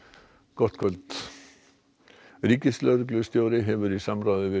gott kvöld ríkislögreglustjóri hefur í samráði við